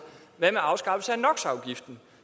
hvad med afskaffelse af nox afgiften